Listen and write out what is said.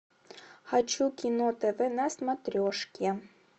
хочу кино тв на смотрешке